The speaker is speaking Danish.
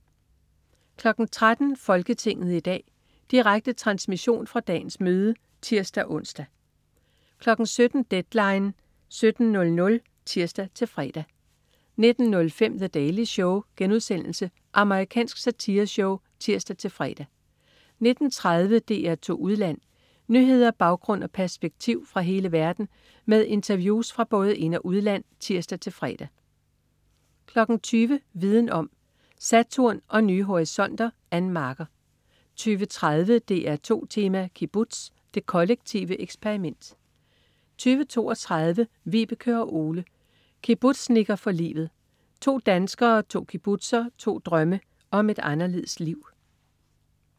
13.00 Folketinget i dag. Direkte transmission fra dagens møde (tirs-ons) 17.00 Deadline 17.00 (tirs-fre) 19.05 The Daily Show.* Amerikansk satireshow (tirs-fre) 19.30 DR2 Udland. Nyheder, baggrund og perspektiv fra hele verden med interviews fra både ind- og udland (tirs-fre) 20.00 Viden om: Saturn og nye horisonter. Ann Marker 20.30 DR2 Tema: Kibbutz. Det kollektive eksperiment 20.32 Vibeke og Ole, kibbutznikker for livet. To danskere, to kibbutzer, to drømme om et anderledes liv